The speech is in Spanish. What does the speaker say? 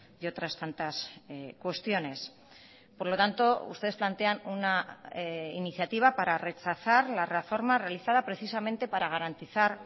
y otras tantas cuestiones por lo tanto ustedes plantean una iniciativa para rechazar la reforma realizada precisamente para garantizar